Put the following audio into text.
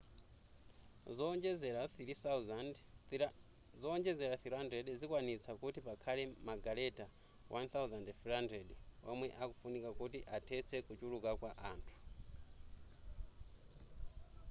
zowonjezera 300 zikwanitsa kuti pakhale magaleta 1,300 omwe akufunika kuti athetse kuchuluka kwa anthu